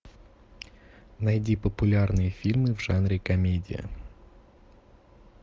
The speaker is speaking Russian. найди популярные фильмы в жанре комедия